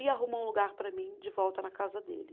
E arrumou um lugar para mim de volta na casa dele.